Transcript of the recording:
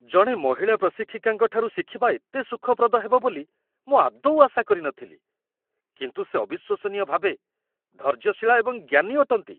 ଜଣେ ମହିଳା ପ୍ରଶିକ୍ଷିକାଙ୍କଠାରୁ ଶିଖିବା ଏତେ ସୁଖପ୍ରଦ ହେବ ବୋଲି ମୁଁ ଆଦୌ ଆଶା କରିନଥିଲି, କିନ୍ତୁ ସେ ଅବିଶ୍ୱସନୀୟ ଭାବେ ଧୈର୍ଯ୍ୟଶୀଳା ଏବଂ ଜ୍ଞାନୀ ଅଟନ୍ତି।